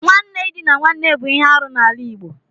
Nwanne idina nwanne bụ ihe arụ n'ala Igbo.